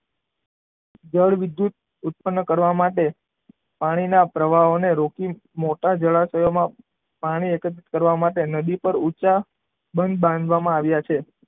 જળ વિદ્યુત ઉત્પન્ન કરવા માટે પાણીના પ્રવાહને રોકી મોટા જળાશયોમાં પાણી એકત્રિત કરવા માટે નદી પર ઊંચા બંધ બાંધવામાં આવે છે.